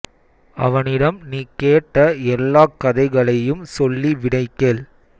அவனிடம் நீ கேட்ட எல்லாக் கதைகளையும் சொல்லி விடை கேள்